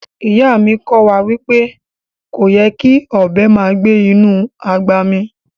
Iya mi ko wa wipe koyè́ kí ọbẹ màá gbẹ̀ inú agbá mí